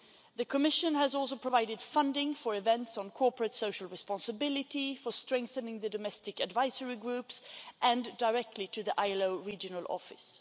The Commission has also provided funding for events on corporate social responsibility, for strengthening the domestic advisory groups and directly to the ILO regional office.